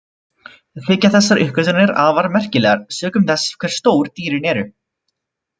Þykja þessar uppgötvanir afar merkilegar sökum þess hversu stór dýrin eru.